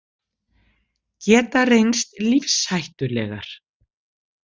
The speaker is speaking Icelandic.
Geta reynst lífshættulegar